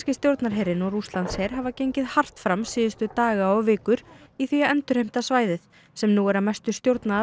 stjórnarherinn og Rússlandsher hafa gengið hart fram síðustu daga og vikur í því að endurheimta svæðið sem nú er að mestu stjórnað af